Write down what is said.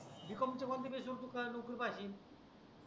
b. com कॉमच्या कोणत्या base वर नोकरी पाहसील